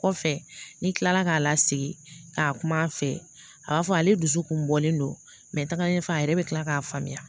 Kɔfɛ ni kila la k'a lasigi k'a kuma a fɛ a b'a fɔ ale dusu kun bɔlen don taga ɲɛ fɛ a yɛrɛ be kila k'a faamuya